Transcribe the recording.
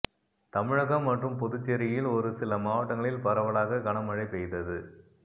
தமிழகம் மற்றும் புதுச்சேரியில் ஒரு சில மாவட்டங்களில் பரவலாக கனமழை பெய்தது